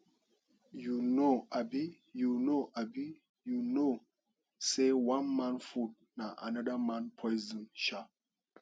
you know abi you know abi you no know sey one man food na anoda man poison um